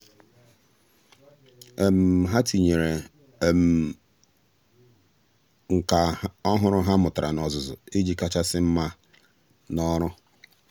há um tínyere um nkà ọ́hụ́rụ́ ha mụ́tàrà n’ọ́zụ́zụ́ iji kàchàsị́ mma n’ọ́rụ́.